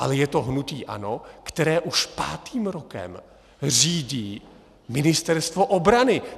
Ale je to hnutí ANO, které už pátým rokem řídí Ministerstvo obrany!